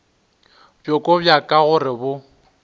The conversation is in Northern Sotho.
bjoko bja ka gore bo